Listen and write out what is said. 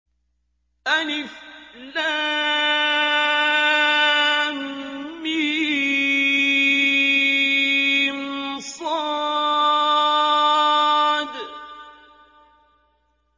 المص